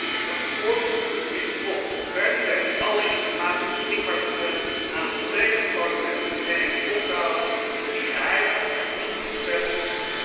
Ik roep de voorzitter van de Commissie op om per direct alle informatie beschikbaar te stellen aan het volledige Parlement en eens op te houden met die geheime en geniepige spelletjes.